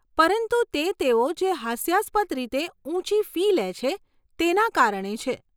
પરંતુ તે તેઓ જે હાસ્યાસ્પદ રીતે ઊંચી ફી લે છે તેના કારણે છે.